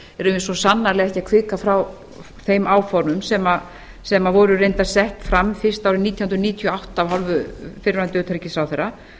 svo sannarlega ekki að hvika frá þeim áformum sem voru reyndar sett fram fyrst árið nítján hundruð níutíu og átta af hálfu fyrrverandi utanríkisráðherra